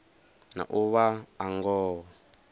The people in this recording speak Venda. na u vha a ngoho